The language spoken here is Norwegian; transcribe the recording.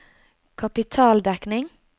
kapitaldekning